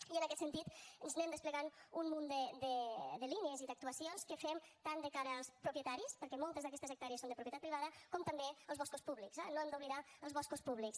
i en aquest sentit anem desplegant un munt de línies i d’actuacions que fem tant de cara als propietaris perquè moltes d’aquestes hectàrees són de propietat privada com també als boscos públics eh no hem d’oblidar els boscos públics